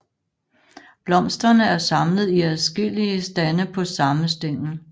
Blomsterne er samlet i adskilte stande på samme stængel